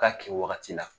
K'a kɛ wagati la